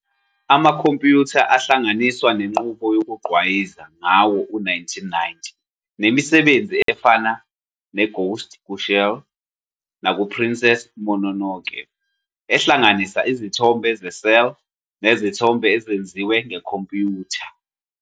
Amakhompiyutha ahlanganiswa nenqubo yokugqwayiza ngawo-1990, nemisebenzi efana "neGhost kuShell" "nakuPrincess Mononoke" ehlanganisa izithombe ze-cel nezithombe ezenziwe ngekhompyutha.